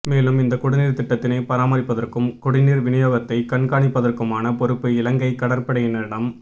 மேலும் இந்த குடிநீா் திட்டத்தினை பராமாிப்பதற்கும் குடிநீா் விநியோகத்தை கண்காணிப்பதற்குமான பொறுப்பு இலங்கை கடற்படையினாிடம்